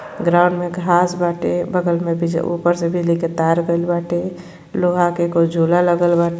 ground में घास बाटे बगल में बीज ऊपर से बिजली के तार गईल बाटे लोहा के कोई झोला लागल बा--